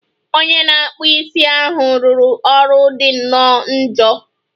Onye na-akpụ isi ahụ rụrụ ọrụ dị nnọọ njọ